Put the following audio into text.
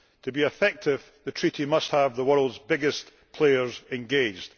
To be effective, the Treaty must have the world's biggest players engaged.